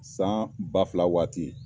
San ba fila waati